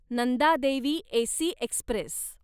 Nanda Devi AC Express